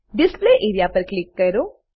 display area પર click કરો